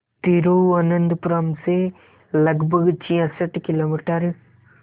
तिरुवनंतपुरम से लगभग छियासठ किलोमीटर